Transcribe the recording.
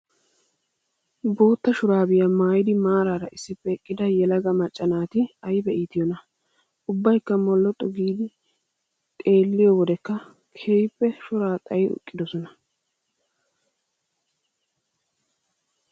Bootta shuuraabiyaa maayyidi maaraara issippe eqqida yelaaga macca naaaati ayiba iitiyoonaa. Ubbayikka molloxxu giidi xeelliyoo wodekka keehippe shoraa xayidi eqqidosona.